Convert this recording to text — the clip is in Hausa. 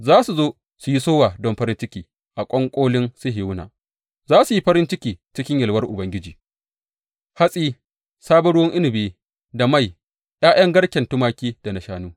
Za su zo su yi sowa don farin ciki a ƙwanƙolin Sihiyona; za su yi farin ciki cikin yalwar Ubangiji hatsi, sabon ruwan inabi da mai, ’ya’yan garken tumaki da na shanu.